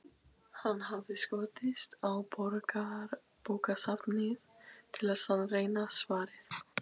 Hann hafði skotist á Borgarbókasafnið til að sannreyna svarið.